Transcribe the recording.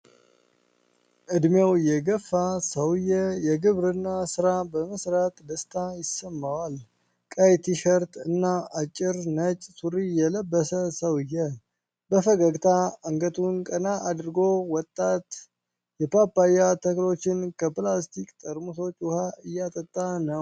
እድሜው የገፋ ሰውዬው የግብርና ሥራ በመስራት ደስታ ይሰማዋል። ቀይ ቲሸርት እና አጭር ነጭ ሱሪ የለበሰው ሰው፣ በፈገግታ አንገቱን ቀና አድርጎ፣ ወጣት የፓፓያ ተክሎችን ከፕላስቲክ ጠርሙሶች ውኃ እያጠጣ ነው።